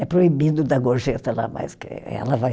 É proibido dar gorjeta lá, mas que ela vai.